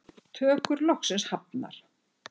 Tökur loksins hafnar